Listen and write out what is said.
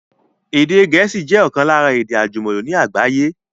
Èdè Gẹ̀ẹ́sì jẹ ọ̀kan lára èdè àjùmọ̀lò ní àgbáyé